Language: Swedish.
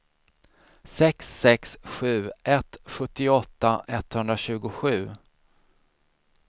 sex sex sju ett sjuttioåtta etthundratjugosju